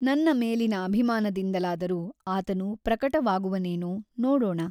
ನನ್ನ ಮೇಲಿನ ಅಭಿಮಾನದಿಂದಲಾದರೂ ಆತನು ಪ್ರಕಟವಾಗುವನೇನೋ ನೋಡೋಣ.